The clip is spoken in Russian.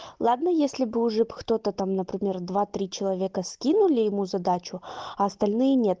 ладно если бы уже кто-то там например два-три человека скинули ему задачу а остальные нет